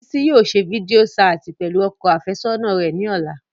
Bisi yóò ṣe fidio ṣaati pẹlu ọkọ afẹsọna rẹ ni ọla.